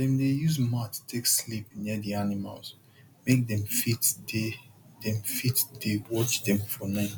dem dey use mat take sleep near the animals make dem fit dey dem fit dey watch them for night